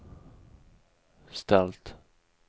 ställt